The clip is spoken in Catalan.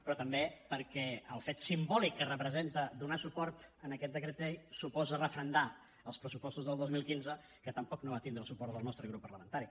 però també perquè el fet simbòlic que representa donar suport a aquest decret llei suposa referendar els pressupostos del dos mil quinze que tampoc no van tindre el suport del nostre grup parlamentari